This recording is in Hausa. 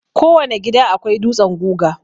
Kowane gida akwai dutsen guga.